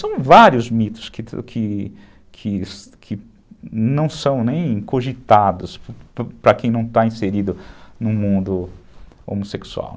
São vários mitos que que que que não são nem cogitados para quem não está inserido no mundo homossexual.